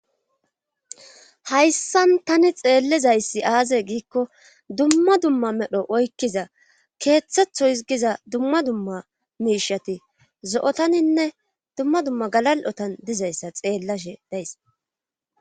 hayssan tani xeellizayssi aaze giikko dumma dumma medho oykkiza keeththetho higiza dumma dumma miishati zo7otaninne dumma dumma galal7otan dizayssa xeellashe days